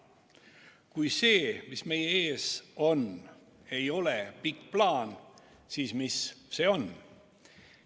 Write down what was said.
Kui see, mis meie ees on, ei ole pikk plaan, siis mis see on?